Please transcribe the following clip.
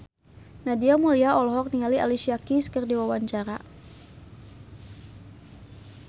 Nadia Mulya olohok ningali Alicia Keys keur diwawancara